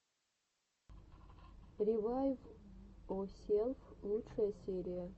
ревайвйоселф лучшая серия